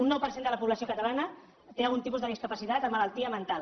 un nou per cent de la població catalana té algun tipus de discapacitat amb malaltia mental